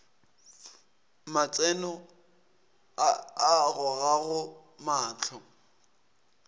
matseno a a gogago mahlo